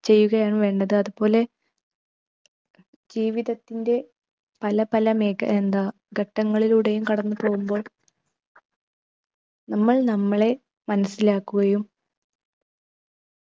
ചെയ്യുകയാണ് വേണ്ടത്. അതുപോലെ ജീവിതത്തിൻ്റെ പല പല മേഘ ഏർ എന്താ ഘട്ടങ്ങളിലൂടെയും കടന്നു പോകുമ്പോൾ നമ്മൾ നമ്മളെ മനസിലാക്കുകയു